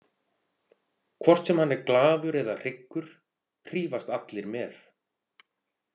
Hvort sem hann er glaður eða hryggur hrífast allir með.